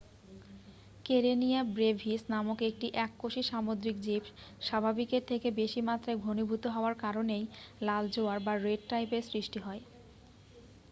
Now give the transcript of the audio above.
Karenia brevis নামক একটি এককোষী সামুদ্রিক জীব স্বাভাবিকের থেকে বেশি মাত্রায় ঘনীভূত হওয়ার কারণেই লাল জোয়ার বা রেড টাইড -এর সৃষ্টি হয়।